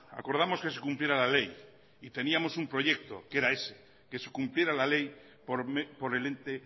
acordamos que se cumpliera la ley y teníamos un proyecto que era ese que se cumpliera la ley por el ente